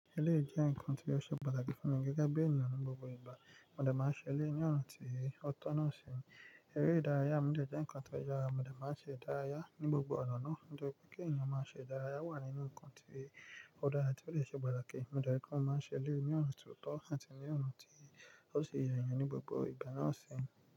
Eléyii jẹ́ ǹkan tí ó ṣe pàtàkì fún mi gẹ́gẹ́ bí ènìyàn ní gbogbo ìgbà. Mo de máa ń ṣe eléyii ní ọ̀nà tí ó tọ̀ nàa sì. Eré ìdárayá, mo de jẹ́ eǹikan tó yára. Mo de máa ń ṣe ìdárayá ní gbogbo ọ̀nà ọ̀nà. Nítorí pé kí ènìyàn máa ṣe ìdárayá wà nínú ǹkan tí ó dára tí ó lè ṣe pàtàkì. Mo de rí pé kò máa ń ṣe eléyii ní ọ̀nà tí ó tọ̀ àti ní ọ̀nà tí ó sì yàn ẹni ní gbogbo ìgbà náà sì.